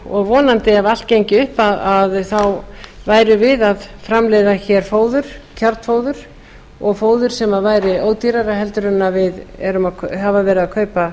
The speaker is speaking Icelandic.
og vonandi ef allt gengi vel þá værum við að framleiða kjarnfóður og fóður sem væri ódýrara heldur en við höfum verið að kaupa